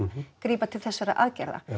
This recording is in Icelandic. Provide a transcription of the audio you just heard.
grípa til þessara aðgerða